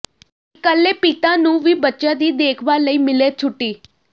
ਇਕੱਲੇ ਪਿਤਾ ਨੂੰ ਵੀ ਬੱਚਿਆਂ ਦੀ ਦੇਖਭਾਲ ਲਈ ਮਿਲੇ ਛੁੱਟੀ